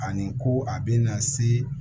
Ani ko a bɛna se